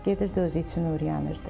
Gedirdi özü üçün öyrənirdi.